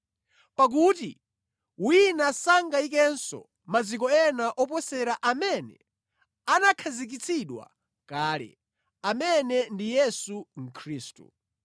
Pakuti wina sangayikenso maziko ena oposera amene anakhazikitsidwa kale, amene ndi Yesu Khristu.